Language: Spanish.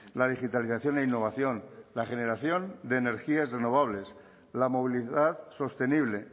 la digitalización e innovación la generación de energías renovables la movilidad sostenible